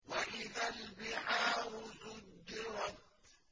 وَإِذَا الْبِحَارُ سُجِّرَتْ